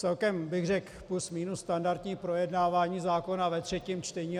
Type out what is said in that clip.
Celkem bych řekl plus minus standardní projednávání zákona ve třetím čtení.